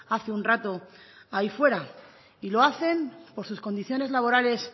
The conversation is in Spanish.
hace un rato ahí fuera y lo hacen por sus condiciones laborales